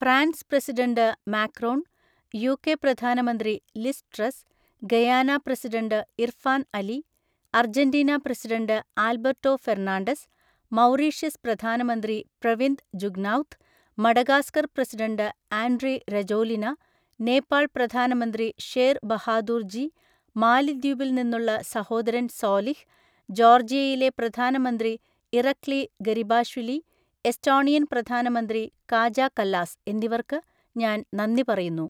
France president Macron, UK പ്രധാനമന്ത്രി Liz Truss, Guyana president Irfaan Ali, Argentina president Alberto Fernandez, Mauritius പ്രധാനമന്ത്രി Pravind Jugnauth, Madagascar president Andry Rajoelina, Nepal പ്രധാനമന്ത്രി ഷേർ ബഹാദൂർ ജി, മാലിദ്വീപിൽ നിന്നുള്ള സഹോദരൻ സോലിഹ്, ജോർജിയയിലെ പ്രധാനമന്ത്രി ഇറക്ലി ഗരിബാഷ്വിലി, എസ്റ്റോണിയൻ പ്രധാനമന്ത്രി കാജ കല്ലാസ് എന്നിവർക്ക് ഞാൻ നന്ദി പറയുന്നു.